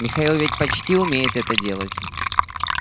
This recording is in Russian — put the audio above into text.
михаил ведь почти умеет это делать